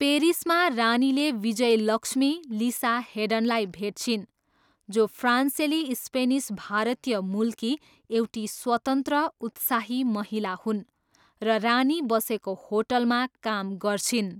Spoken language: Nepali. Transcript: पेरिसमा रानीले विजयलक्ष्मी, लिसा हेडनलाई भेट्छिन् जो फ्रान्सेली स्पेनिस भारतीय मूलकी एउटी स्वतन्त्र, उत्साही महिला हुन् र रानी बसेको होटलमा काम गर्छिन्।